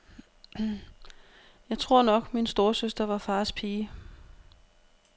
Jeg tror nok, min storesøster var fars pige.